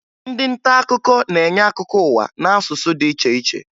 Ndị nta akụkọ na-enye akụkọ ụwa n'asụsụ dị iche iche